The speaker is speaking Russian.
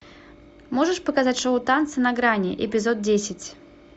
можешь показать шоу танцы на грани эпизод десять